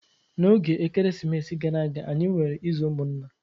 N'oge Ekeresimesi gara aga, anyi nwere izu ụmụnna.